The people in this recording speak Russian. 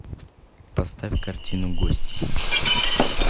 поставь картину гости